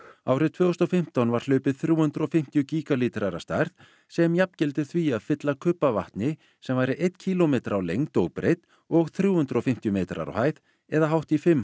árið tvö þúsund og fimmtán var hlaupið þrjú hundruð og fimmtíu gígalítrar að stærð sem jafngildir því að fylla kubb af vatni sem væri einn kílómetri á lengd og breidd og þrjú hundruð og fimmtíu metrar á hæð eða hátt í fimm